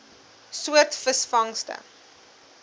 soort visvangste